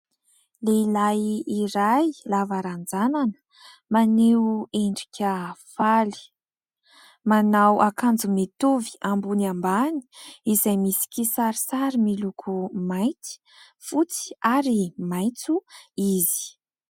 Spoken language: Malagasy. Lehilahy iray lava ranjanana maneho endrika faly. Manao akanjo mitovy ambony ambany, izay misy kisarisary miloko mainty, fotsy ary maitso izy.